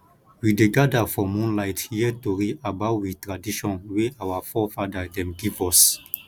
we dey gada for moonlight hear tori about we tradition wey our forefada dem give us